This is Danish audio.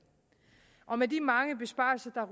med de mange besparelser